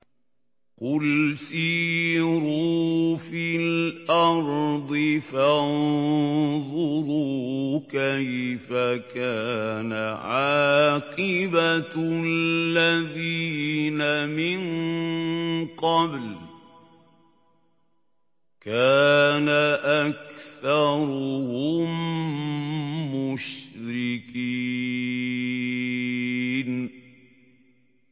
قُلْ سِيرُوا فِي الْأَرْضِ فَانظُرُوا كَيْفَ كَانَ عَاقِبَةُ الَّذِينَ مِن قَبْلُ ۚ كَانَ أَكْثَرُهُم مُّشْرِكِينَ